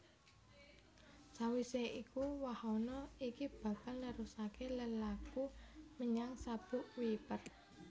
Sawisé iku wahana iki bakal nerusaké lelaku menyang Sabuk Kuiper